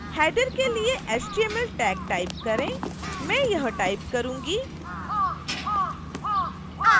header के लिए html tag type करें मैं यह टाइप करूंगी